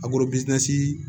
A